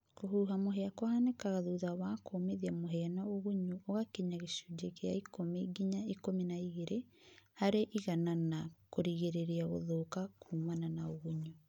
kũhũũha mũhĩa kũhaanĩkaga thũtha wa kũũmĩthĩa mũhĩa na ũgũnyũ ũgakĩnya gĩcũnjĩ kĩa ĩkũmĩ ngĩnya ĩkũmĩ na ĩgĩrĩ harĩ ĩgana na kũrĩgĩrĩrĩa gũthũka kũũmana na ũgũnyũ